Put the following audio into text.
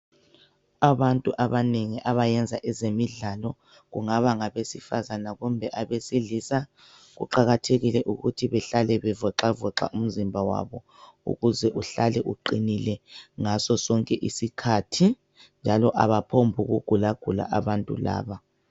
Abantu abanengi abayenza ezemidlalo kungaba ngabesifazana kumbe abesilisa kuqakathekile ukuthi behlale bevoxavoxa umzimba wabo ukuze uhlale uqinile ngaso sonke isikhathi njalo abaphombu kugulagula abantu laba.